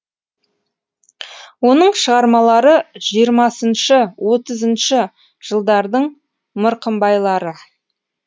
оның шығармалары жиырмасыншы отызыншы жылдардың мырқымбайлары